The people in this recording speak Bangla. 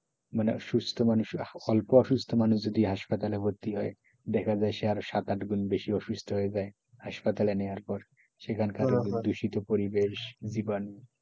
মানে সুস্থ মানুষের অল্প অসুস্থ মানুষ যদি হাসপাতালে ভর্তি হয় দেখা যায় আরো সাত আট গুন বেশি অসুস্থ হয়ে যায় হাসপাতালে নেওয়ার পর সেখানকার দূষিত পরিবেশ জীবাণু,